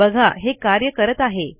बघा हे कार्य करत आहे